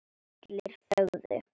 Allir þögðu.